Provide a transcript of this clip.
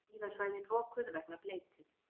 Skíðasvæðin lokuð vegna bleytu